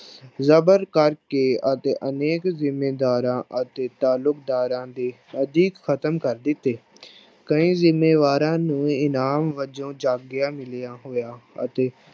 ਜ਼ਬਤ ਕਰਕੇ ਅਤੇ ਅਨੇਕ ਜ਼ਿੰਮੀਦਾਰਾਂ ਅਤੇ ਤਾਲੁਕਦਾਰਾਂ ਦੇ ਅਧਿਕ ਖ਼ਤਮ ਕਰ ਦਿੱਤੇ ਕਈ ਜ਼ਿੰਮੀਦਾਰਾਂ ਨੂੰ ਇਨਾਮ ਵਜੋਂ ਜਗੀਰਾਂ ਮਿਲੀਆਂ ਹੋਈਆਂ ਅਤੇ